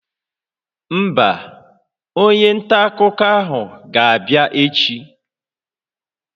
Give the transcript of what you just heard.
Mba, onye nta akụkọ ahụ ga-abịa echi